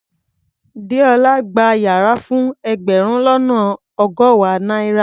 Déọlá gba yàrá fún ẹgbẹ̀rún lọ́nà ọgọ́wàá náírà.